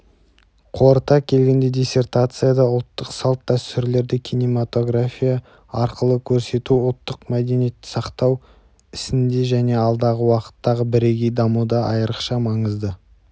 қорыта келгенде диссертацияда ұлттық салт-дәстүрлерді кинематография арқылы көрсету ұлттық мәдениетті сақтау ісінде және алдағы уақыттағы бірегей дамуда айырықша маңызды